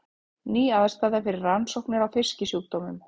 Ný aðstaða fyrir rannsóknir á fisksjúkdómum